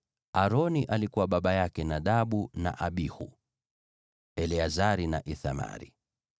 Aroni alikuwa baba yake Nadabu na Abihu, Eleazari na Ithamari.